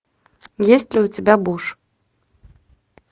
есть ли у тебя буш